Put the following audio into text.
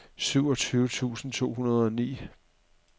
syvogtyve tusind to hundrede og ni